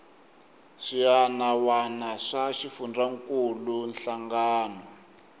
swiana wana swa xifundzankuluwa hlangano